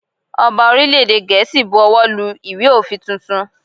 Ọba orílè èdè Gèésì bu owó lu ìwé òfin tuntun.